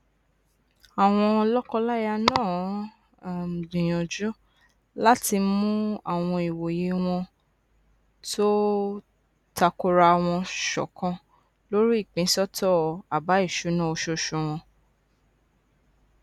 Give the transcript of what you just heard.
àwọn lọkọláya náà um gbìyànjú láti mú àwọn ìwòye wọn tó takora wọn ṣọkan lórí ìpínsọtọ àbá ìṣúná oṣooṣù wọn